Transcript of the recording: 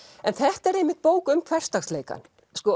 en þetta er einmitt bók um hversdagsleikann